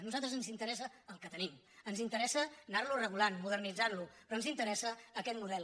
a nosaltres ens interessa el que tenim ens interessa anar lo regulant modernitzant lo pe rò ens interessa aquest model